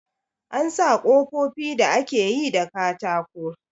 An sa kofofi da ake yi da katako.